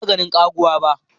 Ban taba ganin ƙaguwa ba.